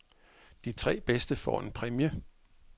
De tre bedste får en præmie.